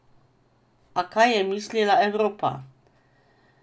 A kaj je mislila Evropa?